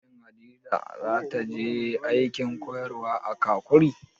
Shin Hadiza za ta je aikin koyarwa a Kakuri?